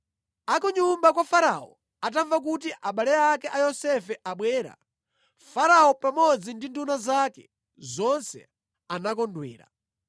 Akunyumba kwa Farao atamva kuti abale ake a Yosefe abwera, Farao pamodzi ndi nduna zake zonse anakondwera.